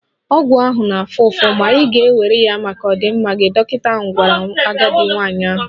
Ọgwụ ahụ ga-afụ ụfụ, ma ị ga-ewere ya maka ọdịmma gị, dọkịta gwara agadi nwanyị ahụ.